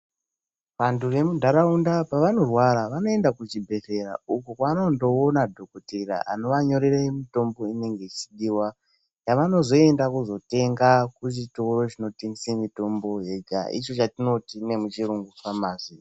Vantu vemundaraunda pavanorwara vanoenda kuzvibhedhlera uko kwavanondoona dhokoteya anovanyorera mitombo inenge ichidiwa yavanozoenda kuzotenga kuchitoro chinotengesa mitombo yega icho chatinoti nemuchirungu famasi.